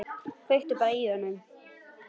Kveiktu bara í honum.